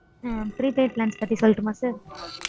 prepaid plans பத்தி சொல்லட்டுமா sir.